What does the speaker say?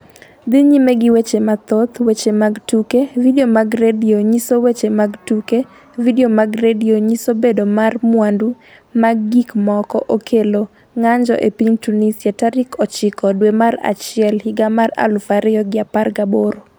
Dhi nyime gi weche mathoth Weche mag tuke Vidio mag redio nyiso weche mag tuke Vidio mag redio nyiso Bedo mar mwandu mag gikmoko okelo ng'anjo e piny Tunisia tarik 9 dwe mar achiel higa mar 2018